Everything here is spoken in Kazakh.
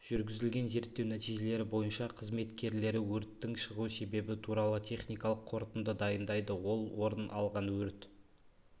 жүргізілген зерттеу нәтижелері бойынша қызметкерлері өрттің шығу себебі туралы техникалық қорытынды дайындайды ол орын алған өрт